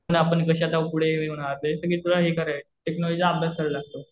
आपण कशाचं पुढे हे होणार. बेसिकली तुला हे करायचं. टेक्नॉलॉजीचा अभ्यास करावा लागतो.